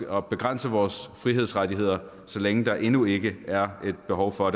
at begrænse vores frihedsrettigheder så længe der endnu ikke er et behov for